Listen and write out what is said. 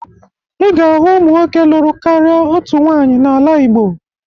Ị ga-ahụ ụmụ nwoke lụrụ karịa otu nwaanyị n'ala Igbo